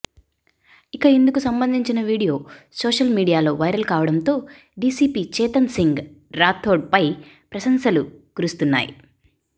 ఇక ఇందుకు సంబంధించిన వీడియో సోషల్ మీడియాలో వైరల్ కావడంతో డీసీపీ చేతన్ సింగ్ రాథోడ్పై ప్రశంసలు కురుస్తున్నాయి